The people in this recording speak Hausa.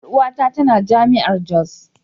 Yar uwata tana jami'ar jos.